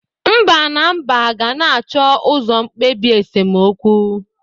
Mba na Mba ga-na acho uzo mkpebi esemokwu.